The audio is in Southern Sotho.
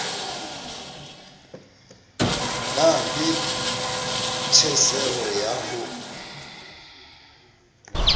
na le tjheseho ya ho